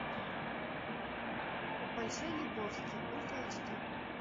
большой лебовски ультра эйч ди